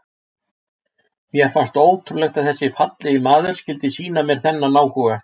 Mér fannst ótrúlegt að þessi fallegi maður skyldi sýna mér þennan áhuga.